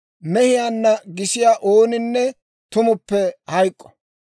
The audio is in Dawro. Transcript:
«Mehiyaanna gisiyaa ooninne tumuppe hayk'k'o.